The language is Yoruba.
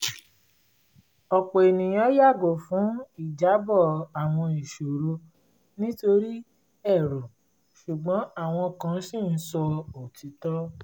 ọ̀pọ̀ ènìyàn yàgo fún ìjábọ̀ àwọn iṣòro nítorí ẹ̀rù ṣùgbọ́n àwọn kan ṣì ń sọ òtítọ́